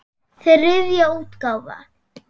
Þriðja útgáfa.